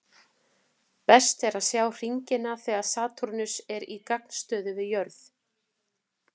Best er að sjá hringina þegar Satúrnus er í gagnstöðu við jörð.